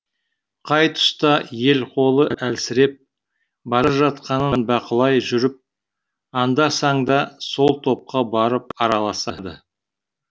қай тұста ел қолы әлсіреп бара жатқанын бақылай жүріп анда санда сол топқа барып араласады